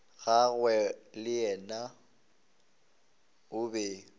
gagwe le yena o be